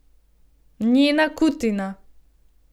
Njena kutina.